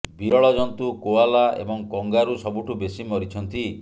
ବିରଳ ଜନ୍ତୁ କୋଆଲା ଏବଂ କଙ୍ଗାରୁ ସବୁଠୁ ବେଶୀ ମରିଛନ୍ତି